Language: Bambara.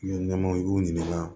Ɲamanw i y'u ɲininka